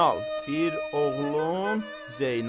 Bir oğlum Zeynal.